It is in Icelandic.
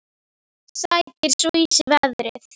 Sækir svo í sig veðrið.